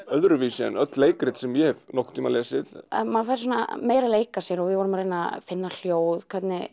öðruvísi en öll leikrit sem ég hef nokkurn tímann lesið maður er meira að leika sér við erum að reyna að finna hljóð